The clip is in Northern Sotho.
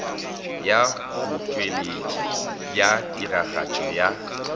ya botšweletši bja tiragatšo ya